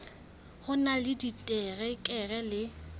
o na le diterekere le